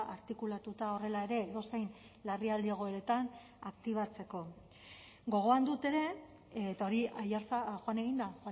artikulatuta horrela ere edozein larrialdi egoeretan aktibatzeko gogoan dut ere eta hori aiartza joan egin da